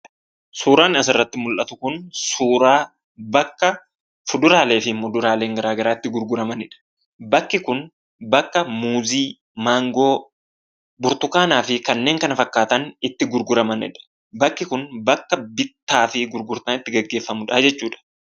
Suuraan asirratti mul'atu kun suuraa bakka fuduraalee fi muduraaleen garaa garaa itti gurguramanidha. Bakki kun bakka muuzii, maangoo, burtukaanaa fi kanneen kana fakkaatan itti gurguramaniidha. Bakki kun bakka bittaa fi gurgurtaan itti gaggeeffamuudhaa jechuudha.